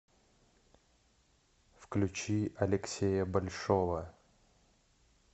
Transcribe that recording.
включи алексея большого